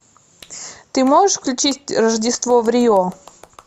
ты можешь включить рождество в рио